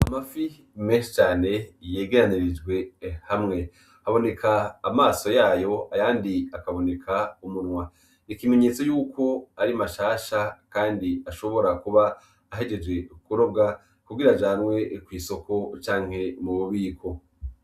Amafi menshi cane yegeranirijwe hamwe. Haboneka amaso yayo, ayandi akaboneka umunwa. Ni ikimenyetso cuko ari mashasha kandi ashobora kuba ahejeje kurobwa kugira ajanwe mw'isoko canke mu bubiko.